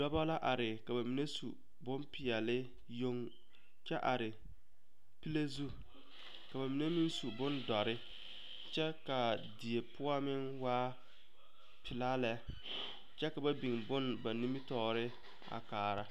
Dɔba la are ka ba mine su bonpeɛlle yoŋ kyɛ are pile zu ka ba mine meŋ su bondɔre kyɛ ka a die poɔ meŋ waa pelaa lɛ kyɛ ka ba biŋ bonne ba nimitɔɔre a kaara.